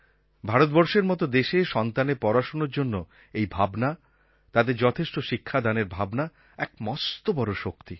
ভারতবর্ষের মত দেশে সন্তানের পড়াশোনার জন্য এই ভাবনা তাদের যথেষ্ট শিক্ষাদানের ভাবনা এক মস্ত বড়ো শক্তি